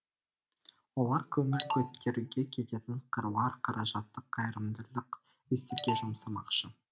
олар көңіл көтеруге кететін қыруар қаражатты қайырымдылық істерге жұмсамақшы